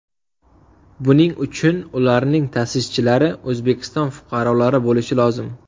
Buning uchun ularning ta’sischilari O‘zbekiston fuqarolari bo‘lishi lozim.